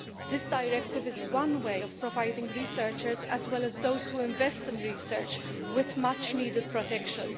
This directive is one way of providing researchers, as well as those who invest in research, with much needed protection.